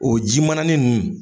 O ji mana nunnu